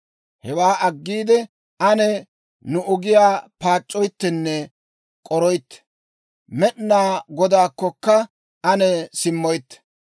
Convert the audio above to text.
Hewaa aggiide, ane nu ogiyaa paac'c'oyttenne k'oroytte; Med'inaa Godaakkokka ane simmoytte.